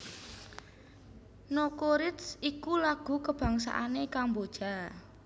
Nokoreach iku lagu kabangsané Kamboja